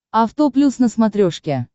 авто плюс на смотрешке